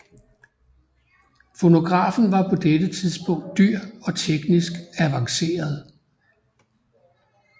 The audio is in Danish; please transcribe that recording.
Fonografen var på dette tidspunkt dyr og teknisk avanceret